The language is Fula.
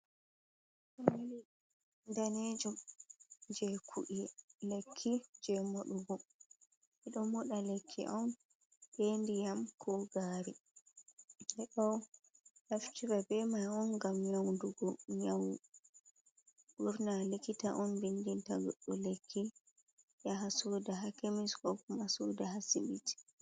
Lekki danejum jei ku'e, lekki jei moɗugo. Ɓe ɗo moɗa lekki on be ndiyam ko gaari. Ɓe ɗo naftira, hiva be mai on ngam nyaundugo nyau. Ɓurna likita on vindinta goɗɗo lekki, yaha soda haa kemis ko kuma soda haa asibiti.